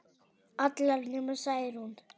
Allar nema Særún